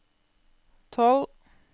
tolv